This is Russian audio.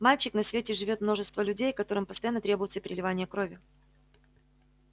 мальчик на свете живёт множество людей которым постоянно требуется переливание крови